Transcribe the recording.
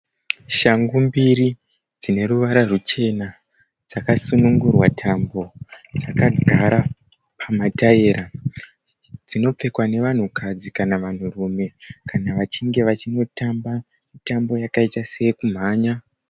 Shangu mbiri dzine ruvara ruchena dzakasunungurwa tambo dzakagara pamataira dzinopfekwa nevanhukadzi kana vanhurume kana vachinge vachinotamba mitambo yakaita sekumhanya.